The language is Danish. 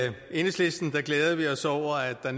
enhedslisten glæder vi os over at der